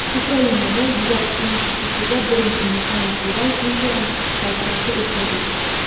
Ukrainada, Yurak institutida birinchi mexanik yurak implantatsiyasi o‘tkazildi.